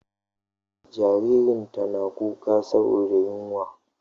Jaririn tana kuka saboda yunwa.